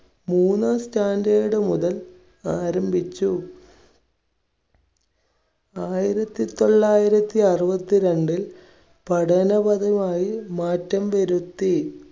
മൂന്നാം standard മുതൽ ആരംഭിച്ചു. ആയിരത്തി തൊള്ളായിരത്തി അറുപത്തിരണ്ട് പഠന കഥയായി മാറ്റം വരുത്തി.